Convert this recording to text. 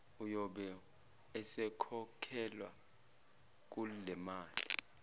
uyobe esekhokhelwa kulemali